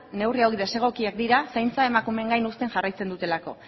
neurri hauek desegokiak dira zaintza emakumeen gain jarraitzen dutelako